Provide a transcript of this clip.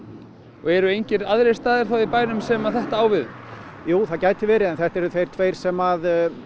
og eru engir aðrir staðir þá í bænum sem þetta á við um jú það gæti verið en þetta eru þeir tveir sem